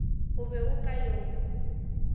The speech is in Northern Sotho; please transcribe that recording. o be o ka yo